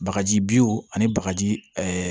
Bagaji bo ani bagaji